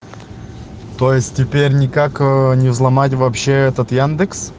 то есть теперь никак ээ не взломать вообще этот яндекс